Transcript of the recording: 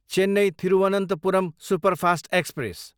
Chennai, Thiruvananthapuram superfast express